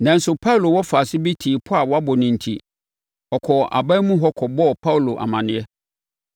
Nanso, Paulo wɔfaase bi tee pɔ a wɔabɔ no enti, ɔkɔɔ aban mu hɔ kɔbɔɔ Paulo amaneɛ.